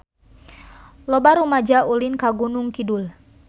Loba rumaja ulin ka Gunung Kidul